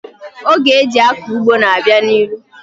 Oge eji akọ ugbo na-abịa n'ihu.